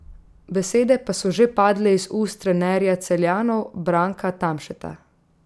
Besede pa so že padle iz ust trenerja Celjanov Branka Tamšeta.